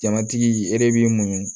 Jamatigi e de b'i muɲu